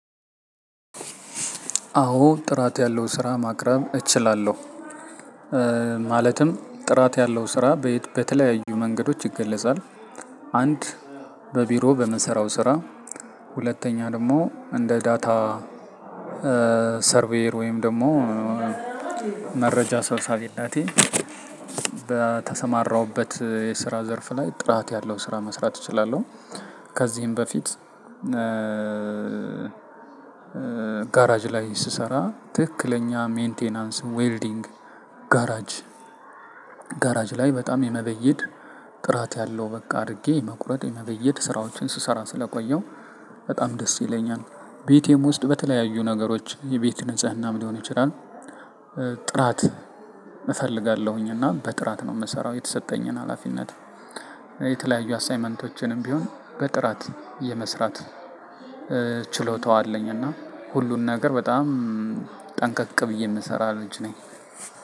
አዎ ጥራት ያለው ስራ ማቅረብ እችላለሁ። ማለትም ጥራት ያለው ስራ በተለያዩ መንገዶች ይገለጻል። አንድ በቢሮ በምሰራው ስራ። ሁለተኛ ደግሞ እንደ ዳታ ሰርቬር ወይም ደግሞ መረጃ ሰብሳብነቴ በተሰማራሁበት የስራ ዘርፍ ላይ ጥራት ያለው ስራ መስራት እችላለሁ። ከዚህም በፊት። ጋራጅ ላይ ስሰራ ትክክለኛ ሜንቴናንስ ዌርዲንግ። ጋራጅ ላይ በጣም የመበየድ ጥራት ያለው በቃ አድርጌ መቁረጥ የመበየድ ስራዎችን ስሰራ ስለቆየው በጣም ደስ ይለኛል። ቤቴም ውስጥ በተለያዩ ነገሮች የቤት ንጽህናም ሊሆን ይችላል። ጥራት እፈልጋለሁኝ እና በጥራት ነው የምሰራው የተሰጠኝን ሀላፊነት። የተለያዩ አሳይመንቶችንም ቢሆን በጥራት የመስራት ችሎታው አለኝ። እና ሁሉን ነገር በጣም ጠንቀቅ ብዬ የምሰራ ልጅ ነኝ።